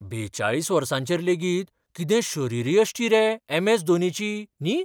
बेचाळीस वर्सांचेर लेगीत कितें शरीरयश्टी रे ऍम. ऍस. धोनीची, न्ही?